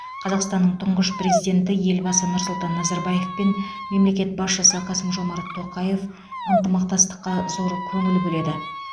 қазақстаннның тұңғыш президенті елбасы нұрсұлтан назарбаев пен мемлекет басшысы қасым жомарт тоқаев ынтымақтастыққа зор көңіл бөледі